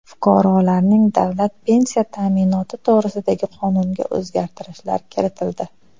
Fuqarolarning davlat pensiya ta’minoti to‘g‘risidagi qonunga o‘zgartirishlar kiritildi.